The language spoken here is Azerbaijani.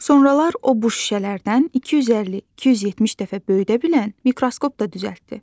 Sonralar o bu şüşələrdən 250-270 dəfə böyüdə bilən mikroskop da düzəltdi.